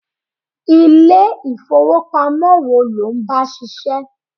Ilé ifowopamo wo lo ń bá ṣiṣẹ́?